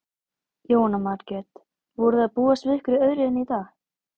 Jóhanna Margrét: Voruð þið að búast við einhverju öðru hérna í dag?